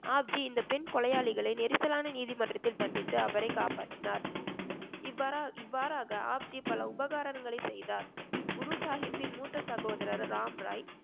ஆப்ஜி இந்த பெண் கொலையாளிகளை நெரிசலான நீதிமன்றத்தில் தண்டித்து அவரை காப்பாற்றினார் இவ்வாறா~ இவ்வாறாக ஆப்ஜி பல உபகாரங்களை செய்தார் குரு சாஹிப்பின் மூத்த சகோதரர் ராம்ராய்